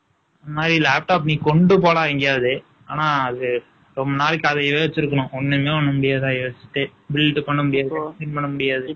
இந்த மாதிரி, laptop , நீ கொண்டு போடா, எங்கேயாவது. ஆனா, அது, ரொம்ப நாளைக்கு, அது யோசிச்சிருக்கணும். ஒண்ணுமே, ஒண்ணும் முடியாது. யோசிச்சுட்டு. Build பண்ண முடியாது. பண்ண முடியாது.